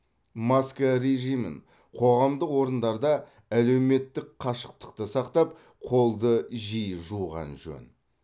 маска режимін қоғамдық орындарда әлеуметтік қашықтықты сақтап қолды жиі жуған жөн